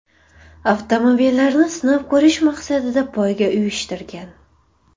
avtomobillarni sinab ko‘rish maqsadida poyga uyushtirgan.